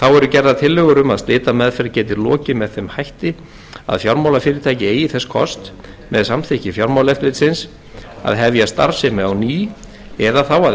gerðar tillögur um að slitameðferð geti lokið með þeim hætti að fjármálafyrirtæki eigi þess kost með samþykki fjármálaeftirlitsins að hefja starfsemi á ný eða þá að